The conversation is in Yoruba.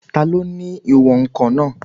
Taló ni ní ìwọ̀n-ǹkan náà?